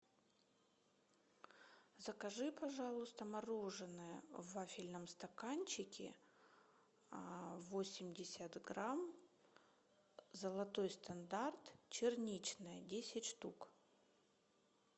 закажи пожалуйста мороденое в вафельном стаканчике восемьдесят грамм золотой стандарт черничное десять штук